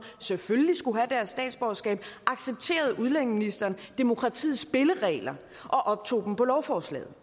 selvfølgelig skulle have deres statsborgerskab accepterede udlændingeministeren demokratiets spilleregler og optog dem på lovforslaget